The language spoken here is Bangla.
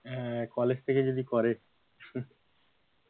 আহ কলেজ থেকে যদি করে,